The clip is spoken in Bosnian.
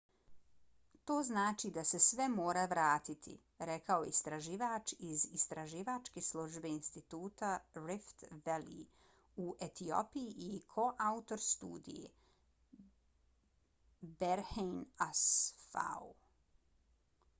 to znači da se sve mora vratiti, rekao je istraživač iz istraživačke službe instituta rift valley u etiopiji i koautor studije berhane asfaw